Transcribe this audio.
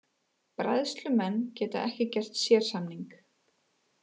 Bræðslumenn geta ekki gert sérsamning